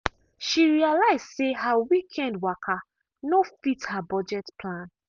she realise say her weekend waka no fit her budget plan.